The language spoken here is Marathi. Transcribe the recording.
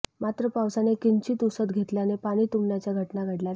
मात्र पावसाने किंचित उसंत घेतल्याने पाणी तुंबण्याच्या घटना घडल्या नाहीत